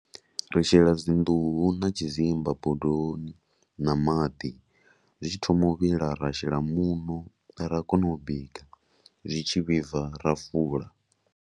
Ri shela dzinḓuhu na tshidzimba bondoni na maḓi, zwi tshi thoma u vhila ra shela muṋo ra kona u bika. Zwi tshi vhibva ra fula.